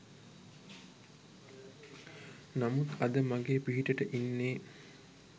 නමුත් අද මගේ පිහිටට ඉන්නේ